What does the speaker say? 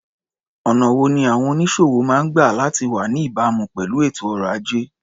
Ọ̀nà wo ni àwọn onísòwò máa ń gba láti wá ní ìbámu pẹ̀lú ètò ọrọ̀-ajé?